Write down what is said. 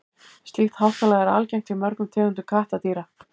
slíkt háttalag er algengt hjá mörgum tegundum kattardýra